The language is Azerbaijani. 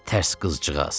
Tərs qızcığaz.